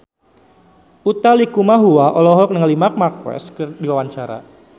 Utha Likumahua olohok ningali Marc Marquez keur diwawancara